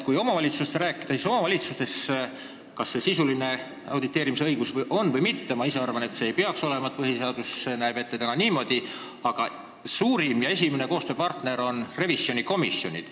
Kui omavalitsustest rääkida, siis ükskõik kas sisulise auditeerimise õigus on või mitte – ma ise arvan, et seda ei peaks olema, ning meie põhiseadus näeb ette just niimoodi –, on suurim ja esimene koostööpartner kohalikes omavalitsustes revisjonikomisjonid.